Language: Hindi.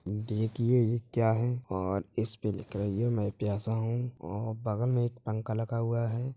देखिए यह क्या है और इस पे लिखा रही है मैं प्यासा हूं और बगल में पंखा लगा हुआ है।